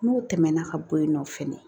N'o tɛmɛna ka bɔ yen nɔ fɛnɛ